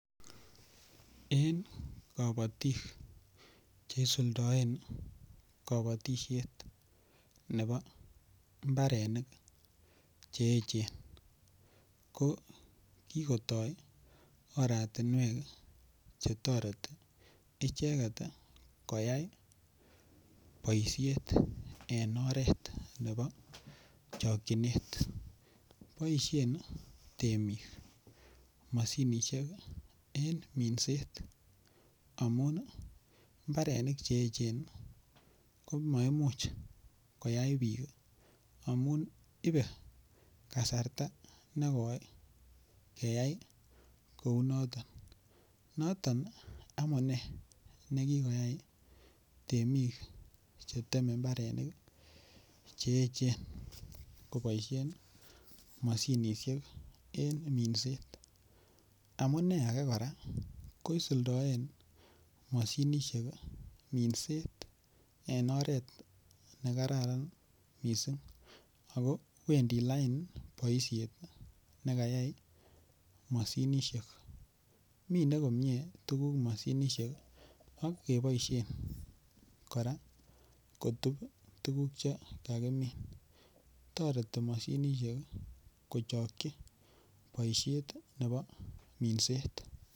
En kapatik che isuldaen kapatishet nepo mbarenik che echen ko kikotai oratunwek che tareti icheget koyai poishet eng' oret nepo chakchinet. Poishen temiik mosinisiek eng' minseet amun mbarenik che echen ko maimuch koyai piik amu ipe kasarta ne koi keyai kou notok. Noton amune ne kikoyai temiik chr teme mbarenik che echen kopaishen mosinisiek eng' minset. Amune age kora ko isuldaen mosinisiek minset en oret ne kararan missing' ako wendi lain poishet ne kayai mosinisiek. Mine komye tuguuk mosinisiek ak kepaishen kora kotup tuguuk che kakimin. Tareti mosinisiek ko chakchi poishet nepo minset.